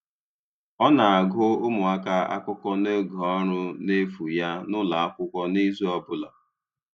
Ọ na-agụ̀ ụmụaka akụkọ n’oge ọrụ n’efu ya n’ụlọ akwụkwọ n’izu ọ bụla.